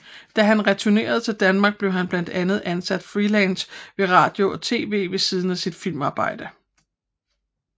Da han returnerede til Danmark blev han blandt andet ansat freelance ved radio og TV ved siden af sit filmarbejde